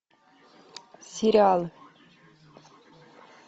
сериалы